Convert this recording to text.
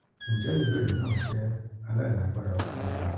njẹ ibeere naa jẹ alailagbara fun ọja naa?